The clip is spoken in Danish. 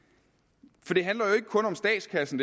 for det her handler jo ikke kun om statskassen